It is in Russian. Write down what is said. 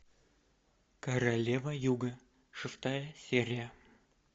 королева юга шестая серия